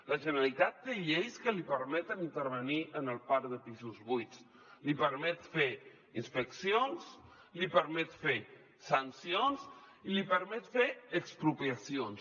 la generalitat té lleis que li permeten intervenir en el parc de pisos buits li permeten fer inspeccions li permeten fer sancions i li permeten fer expropiacions